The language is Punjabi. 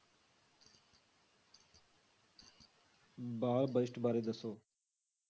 ਬਾਲ budget ਬਾਰੇ ਦੱਸੋ।